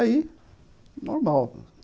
Aí, normal.